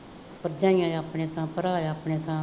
ਭਰਜਾਈਆਂ ਆਪਣੇ ਥਾਂ, ਭਰਾ ਆਪਣੇ ਥਾਂ,